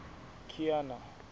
kiana